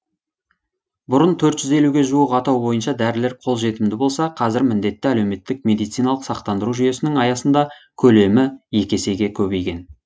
бұрын төрт жүз елуге жуық атау бойынша дәрілер қол жетімді болса қазір міндетті әлеуметтік медициналық сақтандыру жүйесінің аясында көлемі екі есеге көбейген